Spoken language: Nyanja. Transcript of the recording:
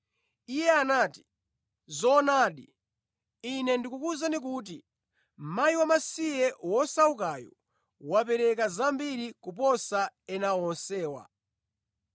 Iye anati, “Zoonadi, Ine ndikukuwuzani kuti mkazi wamasiye wosaukayu wapereka zambiri kuposa ena onsewa.